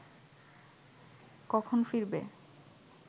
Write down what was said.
কখন ফিরবে